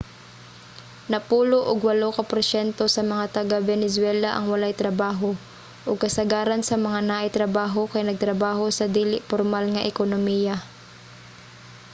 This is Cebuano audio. napulo og walo ka porsyento sa mga taga-venezuela ang walay trabaho ug kasagaran sa mga naay trabaho kay nagtrabaho sa dili pormal nga ekonomiya